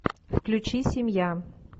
включи семья